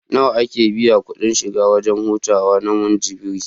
Nawa ake biya kuɗin shiga wajen hutawa na Munjibir?